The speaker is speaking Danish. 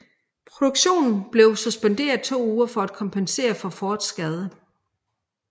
Produktionen blev suspenderet i to uger for at kompensere for Fords skade